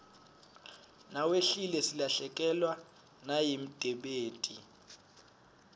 nawehlile silahlekewa nayimdebeti